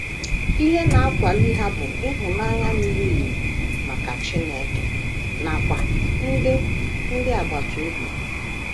Ihe na - akwali ha bụ ịhụnanya miri emi maka Chineke nakwa ndị ndị agbata obi ha.